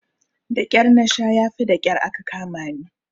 Daƙyar nasha yafi daƙyar aka kamani.